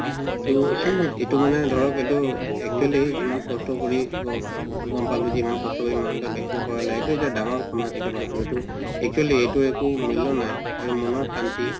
ত এইটো মানে ধৰক এইটো actually ইমান কষ্ট কৰি গ গম পালো যিমান কষ্ট কৰি vaccine কৰালা এইটো এটা ডাঙৰ সমাজ সেৱা আৰু actually এইটো আকো মুল্য নাই আৰু মনৰ শান্তি